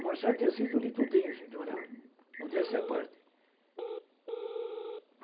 O Marchal de Assis eu li todinho, gente, olha, modéstia à parte.